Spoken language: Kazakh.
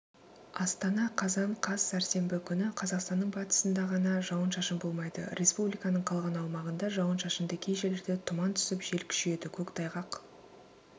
астана қазан қаз сәрсенбі күні қазақстанның батысында ғана жауын-шашын болмайды республиканың қалған аумағында жауын-шашынды кей жерлерде тұман түсіп жел күшейеді көктайғақ